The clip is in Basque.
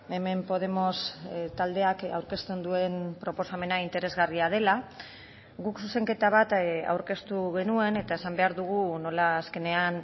hemen podemos taldeak aurkezten duen proposamena interesgarria dela guk zuzenketa bat aurkeztu genuen eta esan behar dugu nola azkenean